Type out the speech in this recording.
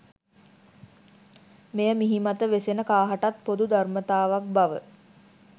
මෙය මිහිමත වෙසෙන කාහටත් පොදු ධර්මතාවක් බව